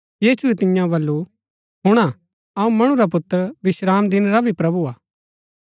यीशुऐ तिआंओ वलू हुणा अऊँ मणु रा पुत्र विश्रामदिन रा भी प्रभु हा